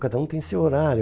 Cada um tem seu horário.